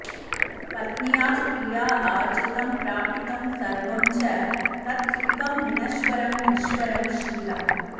पत्न्या स्त्रिया आर्जितं प्रापितं सर्वं च तत् सुखं विनश्वरं नश्वरं शीलं